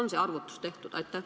Kas see arvutus on tehtud?